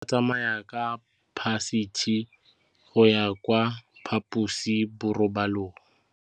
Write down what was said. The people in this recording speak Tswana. Bana ba tsamaya ka phašitshe go ya kwa phaposiborobalong.